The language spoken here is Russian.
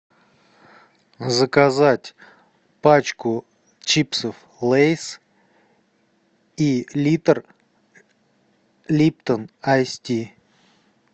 заказать пачку чипсов лейс и литр липтон айс ти